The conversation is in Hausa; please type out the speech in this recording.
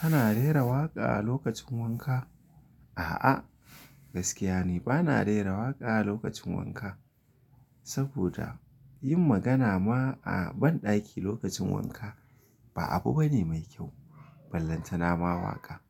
Kana rera waƙa a lokacin wanka? A'a, gaskiya ni ba na rera waƙa lokacin wanka, saboda yin magana ma a banɗaki lokacin wanka ba abu bane mai kyau. Ballanta na ma waƙa.